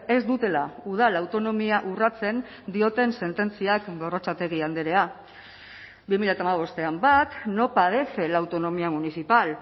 ez dutela udal autonomia urratzen dioten sententziak gorrotxategi andrea bi mila hamabostean bat no padece la autonomía municipal